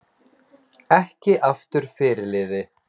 Ekki aftur fyrirliði